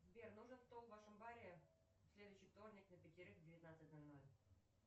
сбер нужен стол в вашем баре в следующий вторник на пятерых в девятнадцать ноль ноль